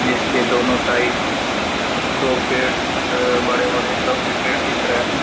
जिसके दोनों साइड दो पेड़ अ बड़े-बड़े लम्बे पेड़ दिख रहे है।